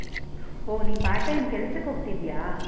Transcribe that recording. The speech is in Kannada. ಹೊ ನೀನ್ part time ಕೆಲ್ಸಕ್ಕ್ ಹೋಗ್ತಿದ್ದೀಯಾ?